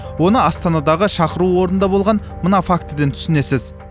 оны астандағы шақырту орнында болған мына фактіден түсінесіз